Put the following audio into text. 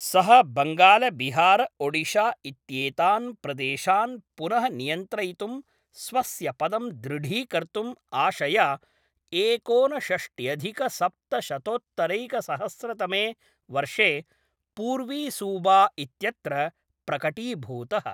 सः बङ्गालबिहारओडिशा इत्येतान् प्रदेशान् पुनः नियन्त्रयितुं स्वस्य पदं दृढीकर्तुम् आशया एकोनषष्ट्यधिकसप्तशतोत्तरैकसहस्रतमे वर्षे पूर्वीसूबा इत्यत्र प्रकटीभूतः।